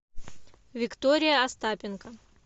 виктория остапенко